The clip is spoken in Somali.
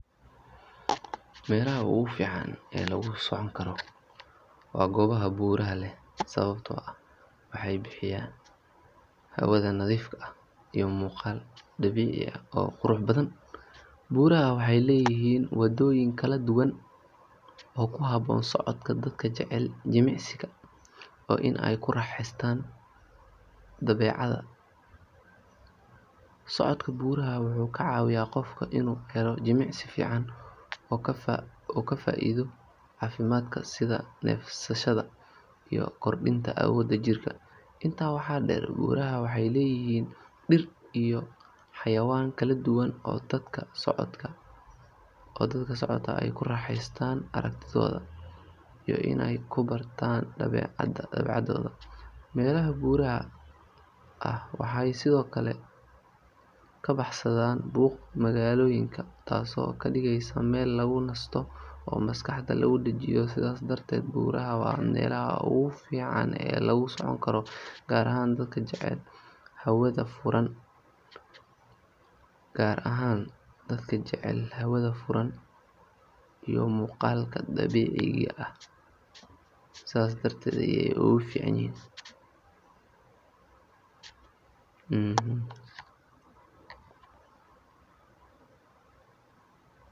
Meelaha ugu fiican ee lagu socon karo waa goobaha buuraha leh sababtoo ah waxay bixiyaan hawada nadiifka ah iyo muuqaal dabiici ah oo qurux badan. Buuraha waxay leeyihiin waddooyin kala duwan oo ku habboon socodka dadka jecel jimicsiga iyo in ay ku raaxaystaan dabeecadda. Socodka buuraha wuxuu ka caawiyaa qofka inuu helo jimicsi fiican oo ka faa’iido caafimaadka sida neefsashada iyo kordhinta awoodda jirka. Intaa waxaa dheer, buuraha waxay leeyihiin dhir iyo xayawaan kala duwan oo dadka socodku ay ku raaxaystaan aragtidooda iyo in ay ku bartaan dabeecadda. Meelaha buuraha ah waxay sidoo kale ka baxsadaan buuqa magaalooyinka, taasoo ka dhigaysa meel lagu nasto oo maskaxda laga dajiyo. Sidaas darteed, buuraha waa meelaha ugu fiican ee lagu socon karo gaar ahaan dadka jecel hawada furan iyo muuqaalka dabiiciga ah.